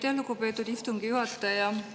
Aitäh, lugupeetud istungi juhataja!